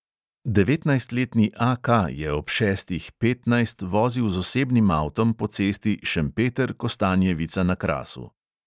Devetnajstletni A K je ob šestih petnajst vozil z osebnim avtom po cesti šempeter-kostanjevica na krasu.